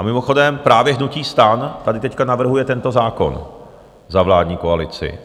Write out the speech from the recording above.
A mimochodem právě hnutí STAN tady teď navrhuje tento zákon za vládní koalici.